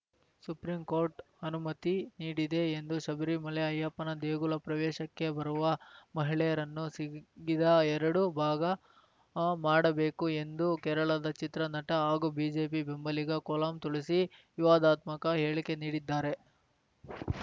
supreme Court ಅನುಮತಿ ನೀಡಿದೆ ಎಂದು ಶಬರಿಮಲೆ ಅಯ್ಯಪ್ಪನ ದೇಗುಲ ಪ್ರವೇಶಕ್ಕೆ ಬರುವ ಮಹಿಳೆಯರನ್ನು ಸಿಗಿದ ಎರಡು ಭಾಗ ಮಾಡಬೇಕು ಎಂದು ಕೇರಳದ ಚಿತ್ರ ನಟ ಹಾಗೂ ಬಿಜೆಪಿ ಬೆಂಬಲಿಗ ಕೊಲ್ಲಂ ತುಳಸಿ ವಿವಾದಾತ್ಮಕ ಹೇಳಿಕೆ ನೀಡಿದ್ದಾರೆ